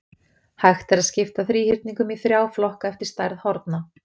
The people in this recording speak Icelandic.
hægt er að skipta þríhyrningum í þrjá flokka eftir stærð horna